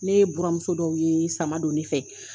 Ne ye buramuso dɔw ye sama don ne fɛ